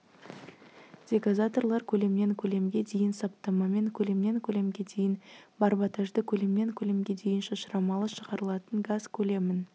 дегазаторлар көлемнен көлемге дейін саптамамен көлемнен көлемге дейін барботажды көлемнен көлемге дейін шашырамалы шығарылатын газ көлемін